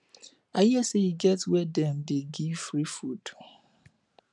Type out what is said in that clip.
i hear say e get where dem dey give free food